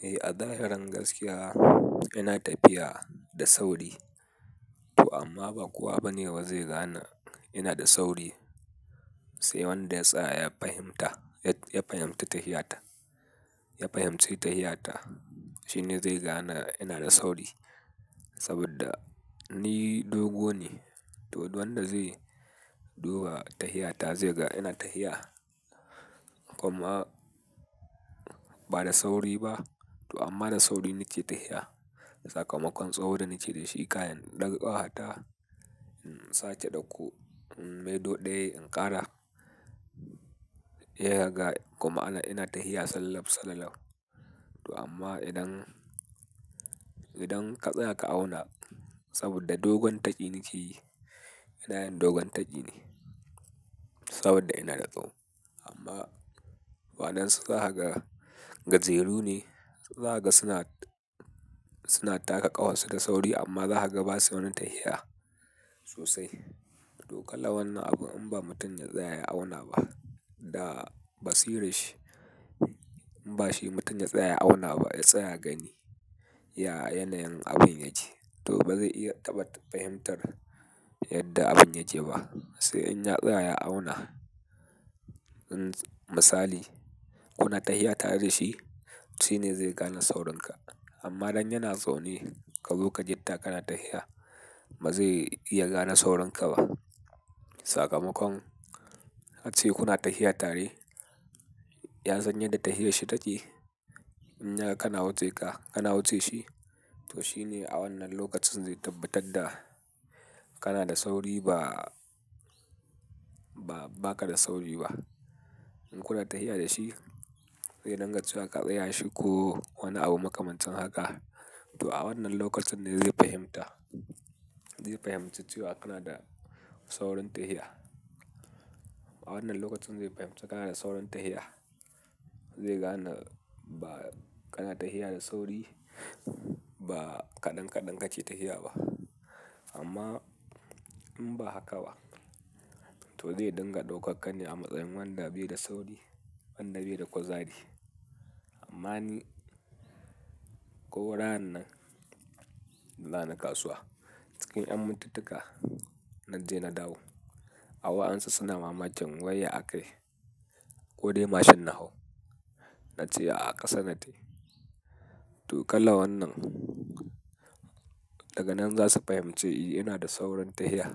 Eh, a zahiran gaskiya ina tafiya da sauri to amma ba kowa bane za zai gane ina da sauri. Sai wanda ya tsaya ya fahimta, ya fahimci ta'ayyata, shine zai gane ina da sauri. Saboda ni dogu ne, to duk wanda zai duba ta'ayyata zai ga ina ta'ayya. Kuma ba da sauri ba, to amma da sauri nake ta'ayya. Sakamakon tsawon da nake da shi kayan ɗakwata, sache ɗauku, mai doɗe, inkara, ya riga kuma ana ina ta'ayya sallab sallallau. To amma idan, idan ka tsaya ka auna saboda dogon taƙi nake, yanayin dogon taƙi ne saboda ina da tsawo. Amma waɗansu za su haka gajeru ne, su za su haka suna taka ƙahonsu da sauri amma za su gaba sai wani ta'ayya sosai. To kala wannan abu in ba mutum ya tsaya ya auna ba da basira shi, in ba shi mutum ya tsaya ya auna ba ya tsaya gani, ya yanayin abin ya ci to ba zai iya tabbatar fahimtar yadda abin ya ce ba. Sai in ya tsaya ya auna, misali kuna ta'ayya tare da shi shine zai gane saurinka. Amma dan yana zaune ka zo ka gitta kana ta'ayya, ba zai iya gane saurinka ba. Sakamakon ace kuna ta'ayya tare, ya san yadda ta'ayyarshi take. In yaga kana wuce ka, kana wuce shi, to shine a wannan lokacin zai tabbatar da kana da sauri ba, ba ka da sauri ba. In kuna ta'ayya da shi, zai nan ga cewa ka tsaya shi ko wani abu makamancin haka, to a wannan lokacin ne zai fahimta, zai fahimci cewa kana da saurin ta'ayya. A wannan lokacin zai fahimci kana da saurin tahiya. Zai gane ba kana ta'ayya da sauri ba kaɗan-kaɗan kake ta'ayya ba. Amma in ba haka ba, to zai dinga daukar ka ne a matsayin wanda bai da sauri, wanda bai da kuzari. Amma ni ko ranan, zani kasuwa cikin ƴan mintika na je na dawo. Har waɗansu suna mamakin wai ya akayi, kodai mashin na hau nace ah ƙasa na tafi. Toh kalar wannan daga nan zasu fahimci inada saurin tafiya